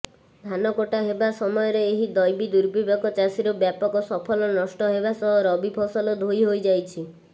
ଧାନକଟା ହେବା ସମୟରେ ଏହି ଦୈବିଦୁର୍ବିପାକ ଚାଷୀର ବ୍ୟାପକ ଫସଲ ନଷ୍ଟ ହେବା ସହ ରବିଫସଲ ଧୋଇ ହୋଇଯାଇଛି